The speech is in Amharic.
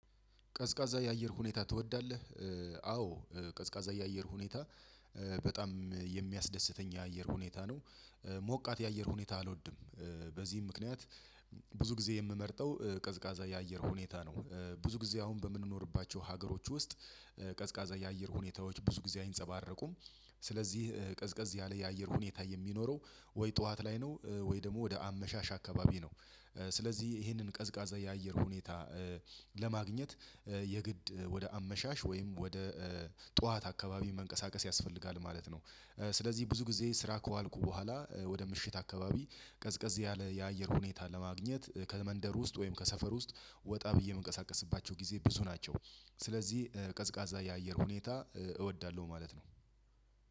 ቀዝቃዛ የአየር ሁኔታ ትወዳለህ? አዎ ቀዝቃዛ የአየር ሁኔታ። በጣም የሚያስደስተኝ የአየር ሁኔታ ነው ሞቃት የአየር ሁኔታ አልወድም። በዚህም ምክንያት ብዙ ጊዜ የምመርጠው ቀዝቃዛ የአየር ሁኔታ ነው። ብዙ ጊዜ አሁን በምንኖርባቸው ሀገሮች ውስጥ ቀዝቃዛ የአየር ሁኔታዎች ብዙ ጊዜ አይንጸባረቁም። ስለዚህ ቀዝቀዝ ያለ የአየር ሁኔታ የሚኖረው ወይ ጠዋት ላይ ነው ወይ ደግሞ ወደ አመሻሽ አካባቢ ነው። ስለዚህ ይሄንን ቀዝቃዛ የአየር ሁኔታ ለማግኘት የግድ ወደ አመሻሽ ወይም ወደ ጠዋት አካባቢ መንቀሳቀስ ያስፈልጋል ማለት ነው። ስለዚህ ብዙ ጊዜ ስራ ከዋልኩ በኋላ ወደ ምሽት አካባቢ ቀዝቀዝ ያለ የአየር ሁኔታ ለማግኘት ከመንደር ውስጥ ወይም ከሰፈር ውስጥ ወጣ ብዬ የምንቀሳቀስባቸው ጊዜ ብዙ ናቸው። ስለዚህ ቀዝቃዛ የአየር ሁኔታ እወዳለሁ ማለት ነው።